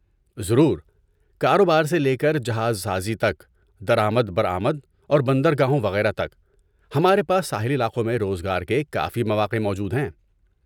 ضرور! کاروبار سے لے کر جہاز سازی تک، درآمد برآمد اور بندرگاہوں وغیرہ تک، ہمارے پاس ساحلی علاقوں میں روزگار کے کافی مواقع موجود ہیں۔